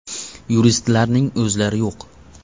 Yuristlarning o‘zlari yo‘q.